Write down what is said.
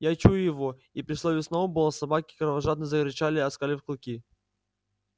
я чую его и при слове сноуболл собаки кровожадно зарычали оскалив клыки